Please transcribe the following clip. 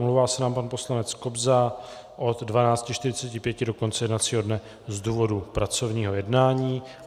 Omlouvá se nám pan poslanec Kobza od 12.45 do konce jednacího dne z důvodu pracovního jednání.